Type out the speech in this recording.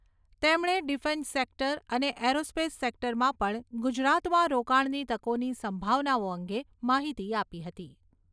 તેમણે defence sector અને aerospace સેક્ટરમાં પણ ગુજરાતમાં રોકાણની તકોની સંભાવનાઓ અંગે માહિતી આપી હતી.